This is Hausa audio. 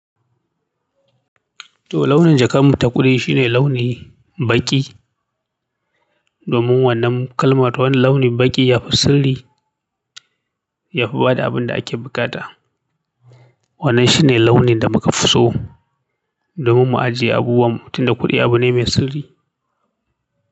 To launin jakar mu ta kuɗi shine launi baƙi domin wannan kalma ta wannan launin baƙi yafi sirri, yafi bada abin da ake buƙata. Wannan shine launin da muka fi so domin mu ajiye abubuwan mu tunda kuɗi abu ne mai sirri.